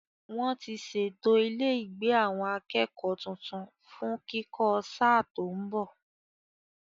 Wọ́n ti ṣètò ilé ìgbé àwọn akẹ́kọ̀ọ́ tuntun fún kíkọ́ sáà tó ń bọ̀.